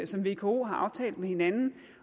som vko har aftalt med hinanden